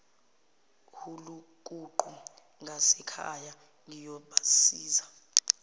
hulukuqu ngasekhaya ngiyobazisa